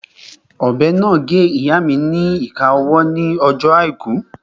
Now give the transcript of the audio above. Ọ̀bẹ náà gé ìyáa mi ni ìka ọwọ́ ní ọjọ́ àìkú